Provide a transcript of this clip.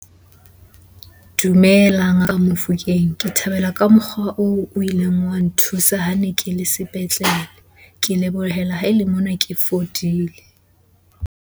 Dumelang Mamofokeng. Ke thabela ka mokgwa oo o ileng wa nthusa ha ne ke le sepetlele.Ke lebohela ha e le mona ke fodile.